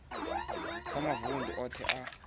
kha mavundu othe a tahe